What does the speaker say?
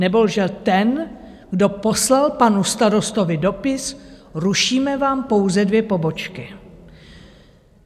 Nebo lže ten, kdo poslal panu starostovi dopis: Rušíme vám pouze dvě pobočky.